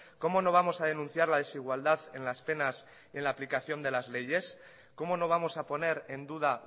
cómo no vamos a denunciar la desigualdad en las penas en la aplicación de las leyes cómo no vamos a poner en duda